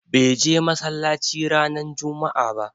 Bai je massalacci ranan juma'a ɓa.